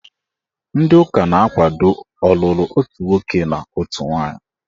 Ndị ụka na-akwado ọlụlụ otu nwoke na otu nwaanyị.